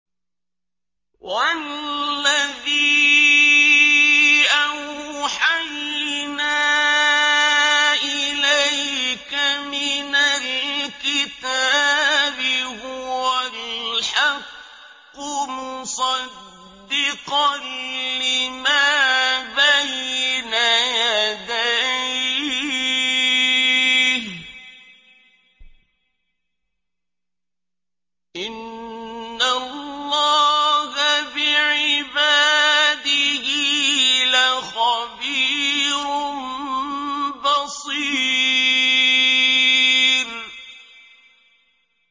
وَالَّذِي أَوْحَيْنَا إِلَيْكَ مِنَ الْكِتَابِ هُوَ الْحَقُّ مُصَدِّقًا لِّمَا بَيْنَ يَدَيْهِ ۗ إِنَّ اللَّهَ بِعِبَادِهِ لَخَبِيرٌ بَصِيرٌ